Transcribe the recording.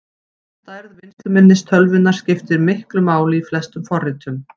Stærð vinnsluminnis tölvunnar skiptir miklu máli í flestum forritum.